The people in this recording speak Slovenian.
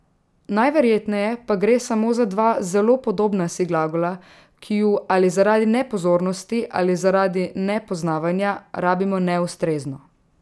Najverjetneje pa gre samo za dva zelo podobna si glagola, ki ju ali zaradi nepozornosti ali zaradi nepoznavanja rabimo neustrezno.